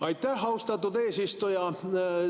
Aitäh, austatud eesistuja!